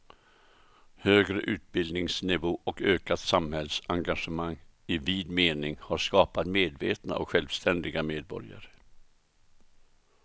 Högre utbildningsnivå och ökat samhällsengagemang i vid mening har skapat medvetna och självständiga medborgare.